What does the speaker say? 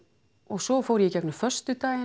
svo fór ég í gegnum föstudaginn